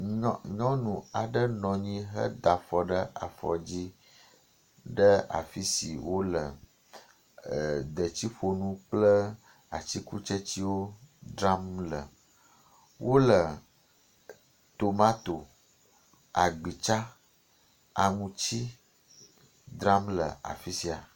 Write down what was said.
Nyɔnu aɖe nɔ anyi heda afɔ ɖe afɔ dzi ɖe afi si wole detsiƒonu kple atsikutsetsewo dzram le. Wole tomato, agbitsa, aŋuti dzram le afi sia.